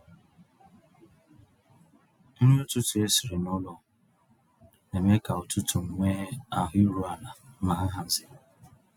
Nrí ụ̀tụtụ̀ ésìrí n'ụ́lọ̀ ná-èmé kà ụ̀tụtụ̀ nwéé ahụ̀ írù àlà ná nhàzị́.